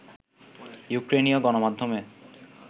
ইউক্রেইনীয় গণমাধ্যমে